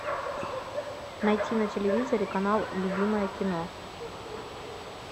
найти на телевизоре канал любимое кино